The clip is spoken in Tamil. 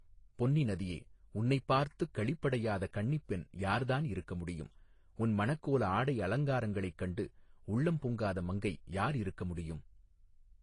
பொன்னி நதியே உன்னைப் பார்த்துக் களிப்படையாத கன்னிப்பெண் யார் தான் இருக்கமுடியும் உன் மணக்கோல ஆடை அலங்காரங்களைக் கண்டு உள்ளம் பொங்காத மங்கை யார் இருக்க முடியும்.